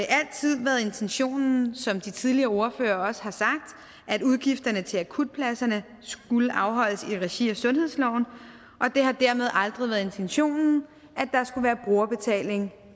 altid været intentionen som de tidligere ordførere også har sagt at udgifterne til akutpladserne skulle afholdes i regi af sundhedsloven og det har dermed aldrig været intentionen at der skulle være brugerbetaling